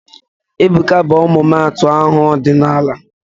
Ebuka bụ ọmụmaatụ aha ọdịnala